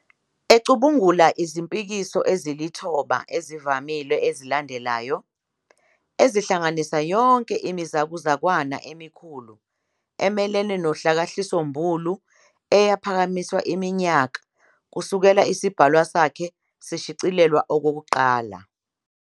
Ecubungula izimpikiso ezilithoba ezivamile ezilandelayo, ezihlanganisa yonke imizakuzakwana emikhulu emelene nohlakahlisombulu eyaphakanyiswa iminyaka kusukela isibhalwa sakhe sishicilelwa okokuqala.